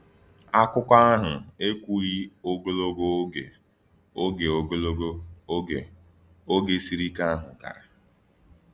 Akụkọ ahụ ekwughị ogologo oge oge ogologo oge oge siri ike ahụ gara.